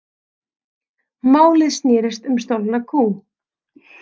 Málið snerist um stolna kú